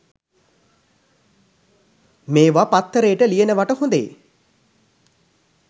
මේව පත්තරේට ලියනවට හොඳේ.